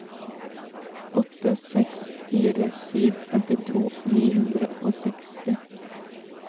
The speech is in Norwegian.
åtte seks fire sju femtito ni hundre og seksti